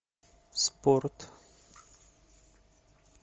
спорт